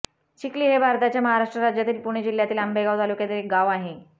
चिखली हे भारताच्या महाराष्ट्र राज्यातील पुणे जिल्ह्यातील आंबेगाव तालुक्यातील एक गाव आहे